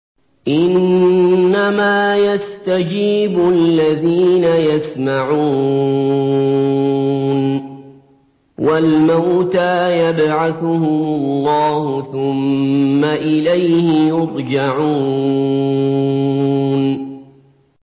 ۞ إِنَّمَا يَسْتَجِيبُ الَّذِينَ يَسْمَعُونَ ۘ وَالْمَوْتَىٰ يَبْعَثُهُمُ اللَّهُ ثُمَّ إِلَيْهِ يُرْجَعُونَ